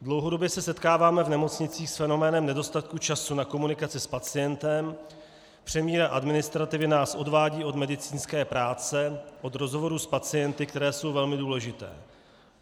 Dlouhodobě se setkáváme v nemocnicích s fenoménem nedostatku času na komunikaci s pacientem, přemíra administrativy nás odvádí od medicínské práce, od rozhovorů s pacienty, které jsou velmi důležité.